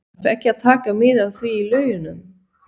Þarf ekki að taka mið af því í lögunum?